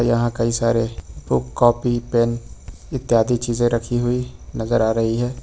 यहाँ कई सारे बुक कॉपी पेन इत्यादि चीजें रखी हुई नजर आ रही है।